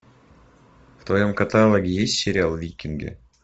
в твоем каталоге есть сериал викинги